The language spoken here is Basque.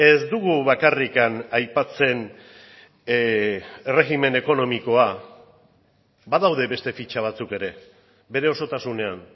ez dugu bakarrik aipatzen erregimen ekonomikoa badaude beste fitxa batzuk ere bere osotasunean